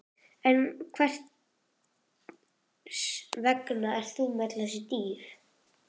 En hvers vegna ertu með öll þessi dýr?